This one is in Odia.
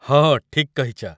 ହଁ, ଠିକ୍ କହିଚ ।